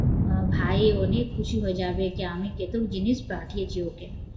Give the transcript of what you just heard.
ভাই অনেক খুশি হয়ে যাবে যে আমি কেতুক জিনিস পাঠিয়েছি ওকে